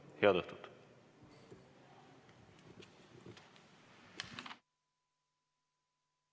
Head õhtut!